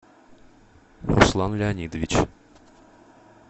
руслан леонидович